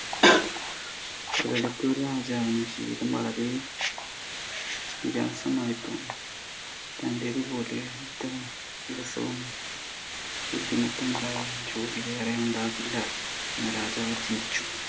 ഒരിടത്ത് ഒരു രാജാവിൻ്റെ ജീവിതം വളരെ വിരസമായിരുന്നു, തൻ്റേത് പോലെ ഇത്ര വിരസവും ബുദ്ധിമുട്ടുമുണ്ടായ ജോലി വേറെ ഉണ്ടാവില്ല എന്ന് രാജാവ് ചിന്തിച്ചു.